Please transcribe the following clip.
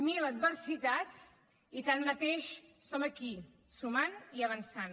mil adversitats i tanmateix som aquí sumant i avançant